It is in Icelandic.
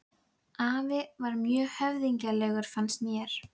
hann hafði halti drykkjusvolinn skrifað með klunnalegum prentstöfum